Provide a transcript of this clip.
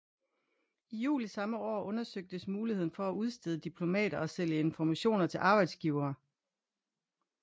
I juli samme år undersøgtes muligheden for at udstede diplomer og sælge informationer til arbejdsgivere